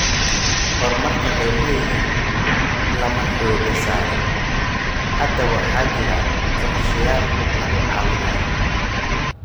Horumarka reer miyiga lama xooga saarin. Hadda waxaa jira qorshayaal lagu caawinayo.